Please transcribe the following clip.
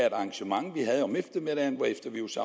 et arrangement vi havde om eftermiddagen hvorefter vi også